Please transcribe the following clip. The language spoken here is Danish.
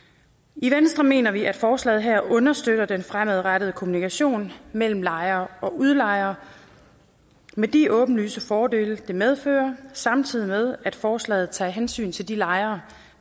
i venstre mener vi at forslaget her understøtter den fremadrettede kommunikation mellem lejer og udlejer med de åbenlyse fordele det medfører samtidig med at forslaget tager hensyn til de lejere